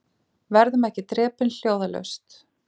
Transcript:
Verðum ekki drepin hljóðalaust